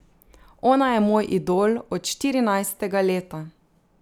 Ona je moj idol od štirinajstega leta.